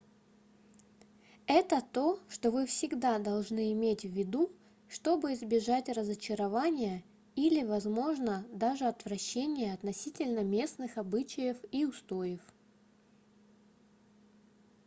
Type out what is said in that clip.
это то что вы всегда должны иметь в виду чтобы избежать разочарования или возможно даже отвращения относительно местных обычаев и устоев